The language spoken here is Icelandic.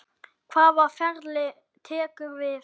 Hvaða ferli tekur við?